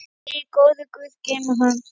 Megi góður guð geyma hann.